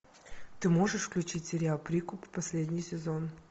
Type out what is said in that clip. ты можешь включить сериал прикуп последний сезон